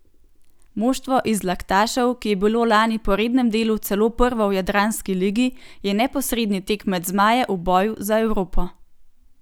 Moštvo iz Laktašev, ki je bilo lani po rednem delu celo prvo v jadranski ligi, je neposredni tekmec zmajev v boju za Evropo.